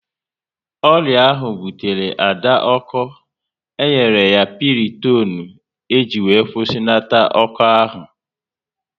Ọrịa ahụ butere Ada ọko, e nyere ya Pịrịtonu e ji kwusinata ọko ahụ